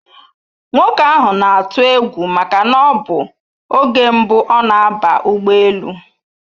Nwoke ahụ na-atụ egwu maka na ọbụ oge mbụ ọ na aba ụgbọ elu